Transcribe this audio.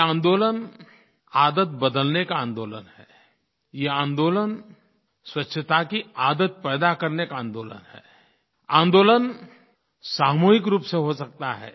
ये आंदोलन आदत बदलने का आंदोलन है ये आंदोलन स्वच्छता की आदत पैदा करने का आंदोलन है आंदोलन सामूहिक रूप से हो सकता है